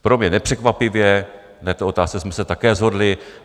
Pro mě nepřekvapivě na této otázce jsme se také shodli.